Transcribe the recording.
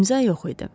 İmza yox idi.